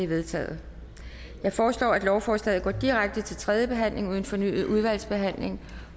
vedtaget jeg foreslår at lovforslaget går direkte til tredje behandling uden fornyet udvalgsbehandling